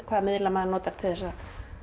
hvaða miðla maður notar til að